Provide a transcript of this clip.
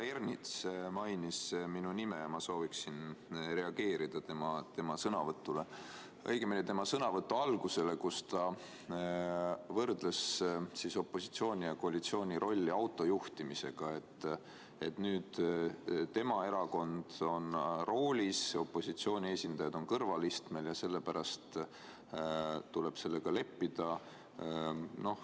Härra Ernits mainis minu nime ja ma sooviksin reageerida tema sõnavõtule, õigemini tema sõnavõtu algusele, kus ta võrdles opositsiooni ja koalitsiooni rolli autojuhtimisega, et nüüd tema erakond on roolis, opositsiooni esindajad on kõrvalistmel ja sellepärast tuleb sellega leppida.